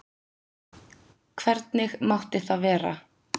Hvernig mátti það vera?